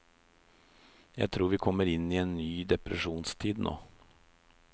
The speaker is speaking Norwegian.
Jeg tror vi kommer inn i en ny depresjonstid nå.